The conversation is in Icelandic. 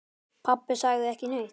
Pabbi sagði ekki neitt.